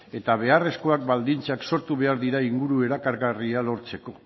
eta beharrezko baldintzak sortu behar dira inguru erakargarria lortzeko